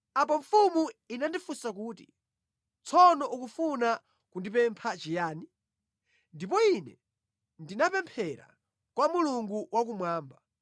Apo mfumu inandifunsa kuti, “Tsono ukufuna kundipempha chiyani?” Ndipo ine ndinapemphera kwa Mulungu Wakumwamba.